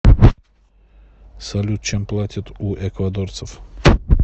салют чем платят у эквадорцев